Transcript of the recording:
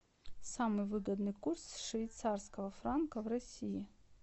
самый выгодный курс швейцарского франка в россии